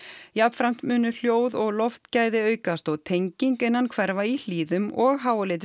jafnframt munu hljóð og loftgæði aukast og tenging innan hverfa í Hlíðum og